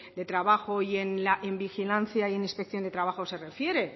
de trabajo y en vigilancia y en inspección de trabajo de refiere